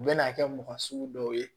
U bɛ n'a kɛ mɔgɔ sugu dɔw ye